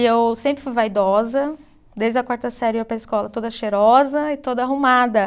E eu sempre fui vaidosa, desde a quarta série eu ia para a escola toda cheirosa e toda arrumada.